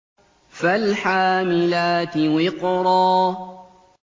فَالْحَامِلَاتِ وِقْرًا